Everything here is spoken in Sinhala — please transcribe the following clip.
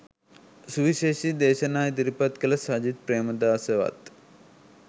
සුවිශේෂී දේශනා ඉදිරිපත් කළ සජිත් ප්‍රේමදාසවත්